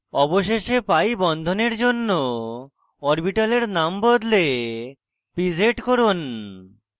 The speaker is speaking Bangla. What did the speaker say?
অবশেষে pi বন্ধনের জন্য অরবিটালের নাম বদলে pz লিখুন